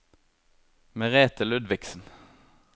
Merethe Ludvigsen